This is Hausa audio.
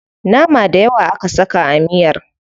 Nama dayawa aka saka a miyar.